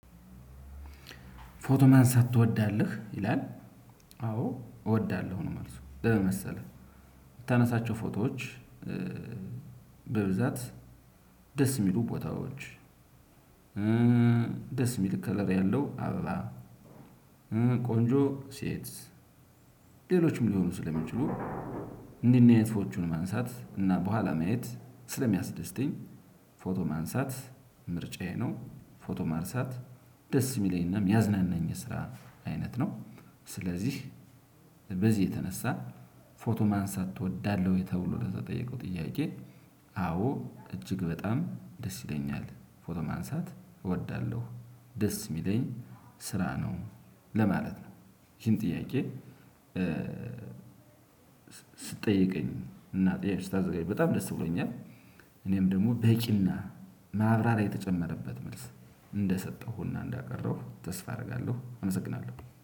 ፎቶ መንስት ትወዳለህ ይላል አዎ እወዳለሁ ነው መልሱ በምን መሰለህ የምታነሳቸው ፎቶዎች በብዛት ደስ የሚሉ ቦታዎች ደስ የሚል ከለር ያለው አበባ ቆንጆ ሴት ሌሎችም ሊሆኑ ስለሚችሉ እንዲህ አይነት ፎቶዎቹን ማንሳት እና በኋላ ማየት ስለሚያስደስተኝ ፎቶ ማንሳት ምርጫዬ ነው። ፎቶ ማርሳት ደስ የሚለኝና ያዝናናኝ ስራ አይነት ነው። ስለዚህ በዚህ የተነሳ ፎቶ ማንሳት እወዳለሁ ወይ ተብሎ ለዛ ጠየቀው ጥያቄ አዎ እጅግ በጣም ደስ ይለኛል ፎቶ ማንሳት እወዳለሁ። ደስ የሚለኝ ስራ ነው ለማለት ነው። ይሄን ጥያቄ ስትጠየቀኝ እና ጥያቄ ስታዘጋጅ በጣም ደስ ብሎኛል። እኔም ደግሞ በቂና ማብራሪያ የተጨመረበት መልስ እንደሰጠሁና እንዳቀረሁ ተስፋ አደርጋለሁ። አመሰግናለሁ።